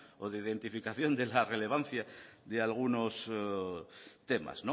o de identificación de la relevancia de algunos temas